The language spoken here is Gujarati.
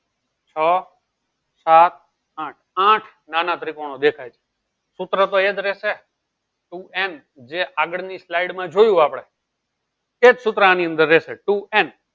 છો સાત આઠ આઠ નાના ત્રીકોનો દેખાય છે સુત્ર તો એક રેહશે ટુ n જે આગળ ની slide માં જોયું આપળે એજ સુત્ર આની અંદર ટુ n